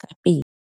ka pele.